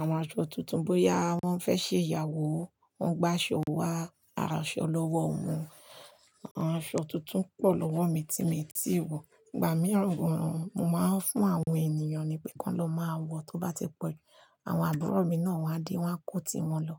Àwọn aṣọ tuntun bóyá wọ́n fẹ́ ṣe ìyàwó, wọ́n gba aṣọ wá, aṣọ lọ́wọ́ wọn. Àwọn aṣọ tuntun pọ̀ lọ́wọ́ mi tí mi ò tí ì wọ̀. Ìgbà mìíràn gan-an, mo máa ń fún àwọn ènìyàn ni pé, "Kọ́ lọ máa wọ̀, tó bá ti pẹ́." Àwọn àbúrò mi náà wá dé, wọ́n kó ti wọn lọ.